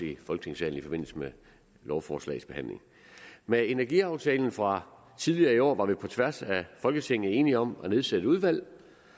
i folketingssalen i forbindelse med lovforslagets behandling med energiaftalen fra tidligere i år var vi på tværs af folketinget enige om at nedsætte et udvalg